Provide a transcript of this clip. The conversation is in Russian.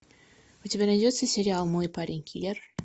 у тебя найдется сериал мой парень киллер